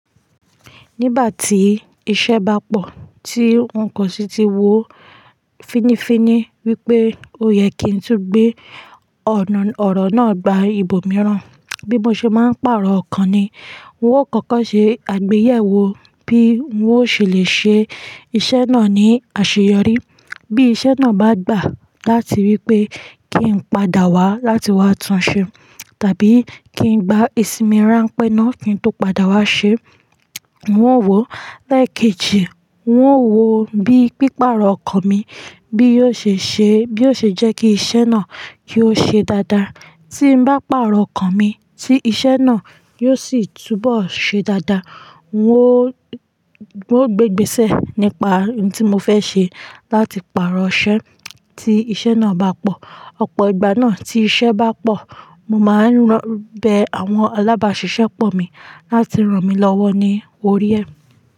Nígbà tí iṣẹ́ bá pọ̀, tí nǹkan ṣí ti wó fínnífínní wípé ó yẹ kí n tú gbé ọ̀nà ọ̀rọ̀ náà gba ibòmíràn. Bí mo ṣe máa ń pàrọ̀ ọ̀kan ni. N óò kọ́kọ́ ṣe àgbéyẹ̀wò bí n óò ṣe lè ṣe iṣẹ́ náà ní àṣeyọrí. Bí iṣẹ́ náà bá gbà láti wípé kí n padà wá láti wá tunṣé tàbí kí n gbá ìsinmi ránpẹ́ náà kí n tó padà wá ṣé, n óò wò ó. Lẹ́ẹ̀kejì, n óò wò ó bí pípàrọ̀ ọ̀kan mi bí yóò ṣe ṣe bí ó ṣe jẹ́ kí iṣẹ́ náà kió ṣe dáadáa. Tí n bá pàrọ̀ ọ̀kan mi tí iṣẹ́ náà yóò sì túbọ̀ ṣe dáadáa. N óò, n óò gbe'gbèsẹ̀ nípa ohun tí mo fẹ́ ṣe láti pàrọ̀ iṣẹ tí iṣẹ́ náà bá pọ̀. Ọ̀pọ̀ ìgbà náà tí iṣẹ́ bá pọ̀, mo máa ń bẹ àwọn alábàáṣiṣẹ́ pọ̀ mi láti ràn mí lọ́wọ́ ní orí ẹ.